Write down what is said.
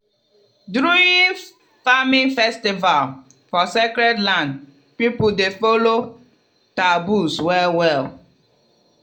during farming festival for sacred land people dey follow taboos well-well.